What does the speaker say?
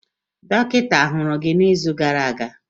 Dọkịta ahụrụ gị n'izu gara aga?